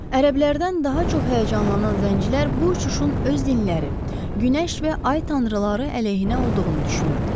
Ərəblərdən daha çox həyəcanlanan zəncilər bu uçuşun öz dinləri, günəş və ay tanrıları əleyhinə olduğunu düşünürdülər.